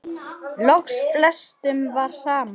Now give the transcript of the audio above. Loks flestum var sama.